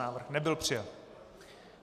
Návrh nebyl přijat.